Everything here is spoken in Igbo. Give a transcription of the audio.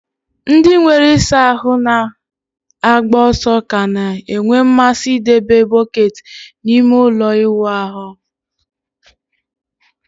Ndị nwere ịsa ahụ na-agba ọsọ ka na-enwe mmasị ịdebe bọket n'ime ụlọ ịwụ ahụ